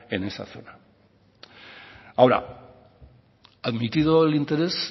en esa zona ahora admitido el interés